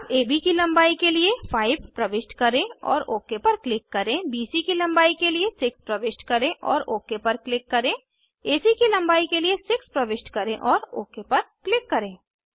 अब एबी की लंबाई के लिए 5 प्रविष्ट करें और ओक पर क्लिक करें बीसी की लंबाई के लिए 6 प्रविष्ट करें और ओक पर क्लिक करें एसी की लंबाई के लिए 6 प्रविष्ट करें और ओक पर क्लिक करें